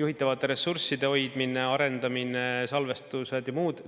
juhitavate ressursside hoidmine, arendamine, salvestused ja muud.